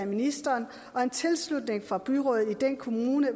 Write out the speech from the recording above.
ministeren og en tilslutning fra byrådet i den kommune